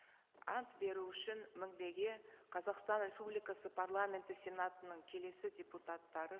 ант беру үшін мінбеге қазақстан республикасы парламенті сенатының келесі депутаттары